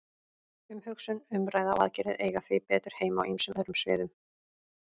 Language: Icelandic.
Umhugsun, umræða og aðgerðir eiga því betur heima á ýmsum öðrum sviðum.